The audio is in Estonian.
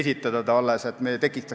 Seda praktikat ma tahaksin kindlasti jätkata.